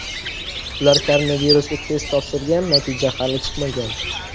Ular koronavirusga test topshirgan, natija hali chiqmagan.